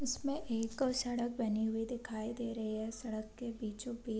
इसमें एक सड़क बनी हुई दिखाई दे रही है सड़क के बीचो-बीच --